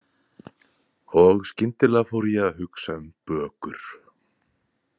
Og skyndilega fór ég að hugsa um bökur.